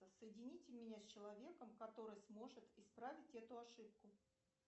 соедините меня с человеком который сможет исправить эту ошибку